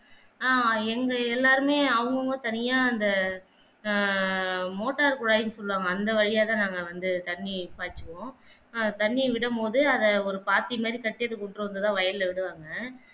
ஆஹ் எங்க எல்லாருமே அவங்க அவங்க தனியா அந்த ஆஹ் மோட்டார் குழாய்ன்னு சொல்லுவாங்க அந்த வழியால தான் நாங்க வந்து தண்ணி பாய்ச்சுவோம் ஆஹ் தண்ணிய விடும்போது அதை ஒரு பாத்தி மாதி வயல்ல விடுவாங்க